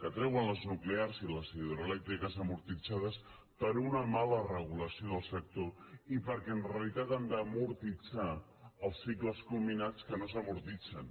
que treuen les nuclears i les hidroelèctriques amortitzades per una mala regulació del sector i perquè en realitat han d’amortitzar els cicles combinats que no s’amortitzen